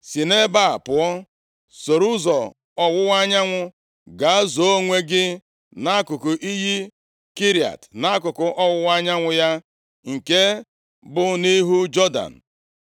“Si nʼebe a pụọ. Soro ụzọ ọwụwa anyanwụ, gaa zoo onwe gị nʼakụkụ iyi Kerit, nʼakụkụ ọwụwa anyanwụ ya, nke bụ nʼihu Jọdan.